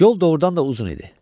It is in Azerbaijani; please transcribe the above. Yol doğrudan da uzun idi.